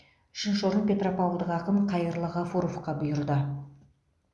үшінші орын петропавлдық ақын қайырлы ғафуровқа бұйырды